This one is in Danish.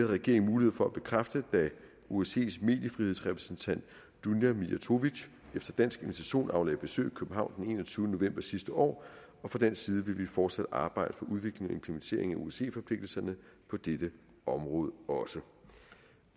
regeringen mulighed for at bekræfte da osces mediefrihedsrepræsentant dunja mijatović efter dansk invitation aflagde besøg i københavn den enogtyvende november sidste år og fra dansk side vil vi fortsat arbejde for udvikling og implementering af osce forpligtelserne på dette område også